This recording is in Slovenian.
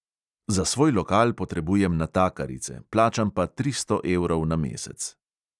Za svoj lokal potrebujem natakarice, plačam pa tristo evrov na mesec.